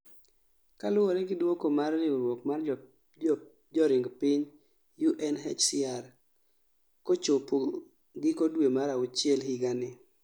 kaluwore gi duoko mar riwruok mar joring piny (UNHCR) kochopo giko due mar aucheil higanii